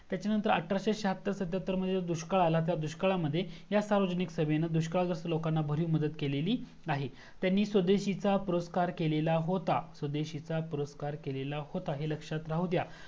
तच्यानंतर अठराशे श्याहत्तर सातत्यहत्तर मध्ये दुष्काळ आला त्या दुष्काळा मध्ये ह्या सार्वजनिक सभेने दुष्काळग्रस्त लोकांना बरीच मदत केलेली आहे त्यांनी स्वदेशींचा पुरस्कार केलेला होता स्वदेशींचा पुरस्कार केलेला होता हे लक्ष्यात राहू द्या